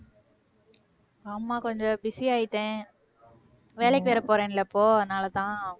ஆமா கொஞ்சம் busy ஆயிட்டேன் வேலைக்கு வேறப் போறேன்ல இப்போ அதனாலேதான்.